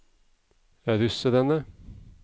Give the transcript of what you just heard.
russerne